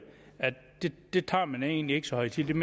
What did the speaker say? det tager man egentlig ikke så højtideligt